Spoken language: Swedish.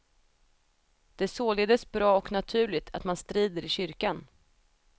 Det är således bra och naturligt att man strider i kyrkan.